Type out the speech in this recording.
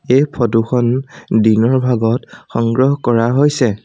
এই ফটো খন দিনৰ ভাগত সংগ্ৰহ কৰা হৈছে।